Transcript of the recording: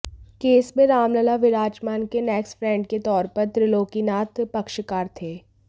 case में रामलला विराजमान के नेक्स्ट फ्रेंड के तौर पर त्रिलोकीनाथ पक्षकार थे